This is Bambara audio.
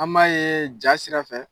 An m'a ye ja sira fɛ.